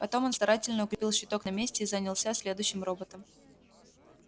потом он старательно укрепил щиток на месте и занялся следующим роботом